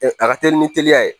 A ka teli ni teliya ye